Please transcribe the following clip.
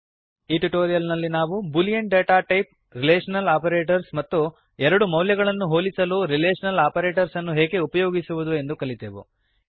ಈ ಟ್ಯುಟೋರಿಯಲ್ ನಲ್ಲಿ ನಾವು boolean data type relational operators ಮತ್ತು ಎರಡು ಮೌಲ್ಯಗಳನ್ನು ಹೋಲಿಸಲು ರಿಲೇಷನಲ್ ಆಪರೇಟರ್ಸ್ ಅನ್ನು ಹೇಗೆ ಉಪಯೋಗಿಸುವುದು ಎಂದು ಕಲಿತೆವು